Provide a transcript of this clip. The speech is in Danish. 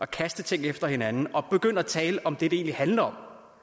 kaste ting efter hinanden og så begynde at tale om det det egentlig handler